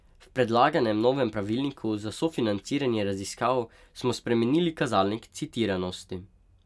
V predlaganem novem pravilniku za sofinanciranje raziskav smo spremenili kazalnik citiranosti.